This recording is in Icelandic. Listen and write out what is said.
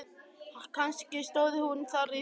Kannski stóð hún þar í þvögunni.